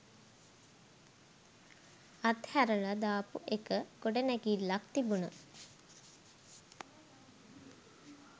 අත්හැරල දාපු එක ගොඩනැගිල්ලක් තිබුන